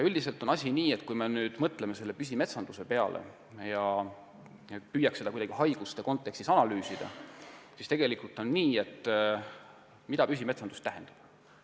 Üldiselt on asi nii, et kui me mõtleme püsimetsanduse peale ja püüame seda kuidagi haiguste kontekstis analüüsida – siis mida püsimetsandus tähendab?